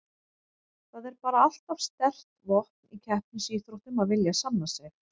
Það er bara alltaf sterkt vopn í keppnisíþróttum að vilja sanna sig.